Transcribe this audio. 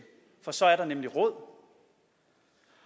for så er der nemlig råd